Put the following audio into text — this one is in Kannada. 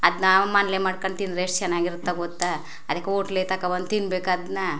ಅದ್ನ ನಾವು ಮನೆಲಿ ಮಾಡಕೊಂಡ್ ತಿನ್ನದ್ರೆ ಎಷ್ಟ ಚನ್ನಾಗಿರುತ್ತೆ ಗೊತ್ತಾ ಅದ್ಕ ಹೊಟ್ಲ್ ತೋಕೋಬಂದ್ ತಿನ್ನಬೇಕ್ ಅದ್ನ --